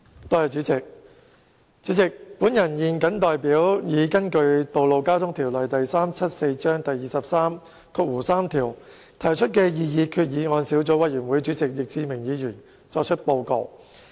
代理主席，我現謹代根據《道路交通條例》第233條提出的擬議決議案小組委員會主席易志明議員作出報告。